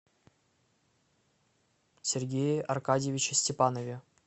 сергее аркадьевиче степанове